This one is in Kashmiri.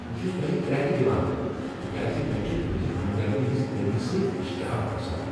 بہٕ چُھس تۄہہ كریٚكہٕ دِوان تکیاز مے٘ چُھ تہنٛزِ ہمدردی ہنٛز کٔمی سۭتۍ اشتعال كھسان ۔